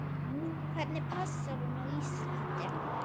Hvernig passar hún á Íslandi?